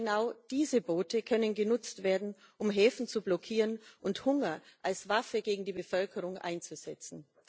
Genau diese Boote können genutzt werden, um Häfen zu blockieren und Hunger als Waffe gegen die Bevölkerung einzusetzen.